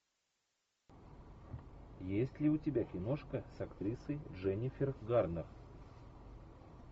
есть ли у тебя киношка с актрисой дженнифер гарнер